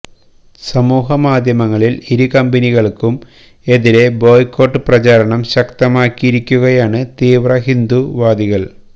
സമൂഹമാധ്യമങ്ങളിൽ ഇരുകമ്പനികൾക്കും എതിരെ ബോയ്കോട്ട് പ്രചാരണം ശക്തമാക്കിയിരിക്കുകയാണ് തീവ്ര ഹിന്ദുത്വ വാദികൾ